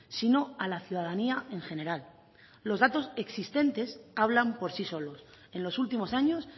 sino a la ciudadanía en general los datos existentes hablan por sí solos en los últimos años